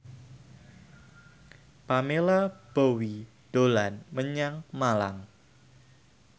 Pamela Bowie dolan menyang Malang